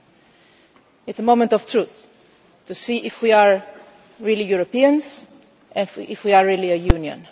It is a moment of truth, to see if we are really Europeans and if we are really a Union.